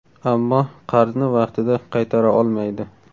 Ammo qarzni vaqtida qaytara olmaydi.